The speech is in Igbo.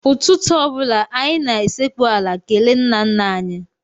Ụtụtụ ọ bụla, anyị na-esekpu ala kelee nnanna anyị.